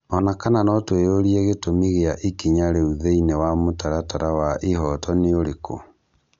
Ona kana notwĩyorie gĩtũmi gĩa ikinya rĩu thĩĩnĩ wa mũtaratara wa ihooto nĩũrĩkũ?